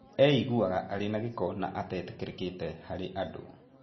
Eiguaga arĩ na gĩko na atetĩkĩrĩkĩte harĩ andũ